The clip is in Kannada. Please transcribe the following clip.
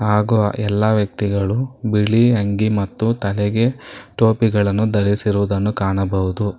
ಹಾಗು ಎಲ್ಲಾ ವ್ಯಕ್ತಿಗಳು ಬಿಳಿ ಅಂಗಿ ಮತ್ತು ತಲೆಗೆ ಟೋಪಿಗಳನ್ನು ಧರಿಸಿರುವುದನ್ನು ಕಾಣಬಹುದು.